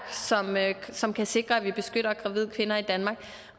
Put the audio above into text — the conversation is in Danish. som kan sikre at vi beskytter gravide kvinder i danmark